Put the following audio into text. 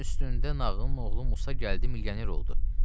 Sənin üstündə nağdın oğlu Musa gəldi, milyoner oldu.